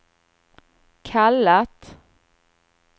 kallat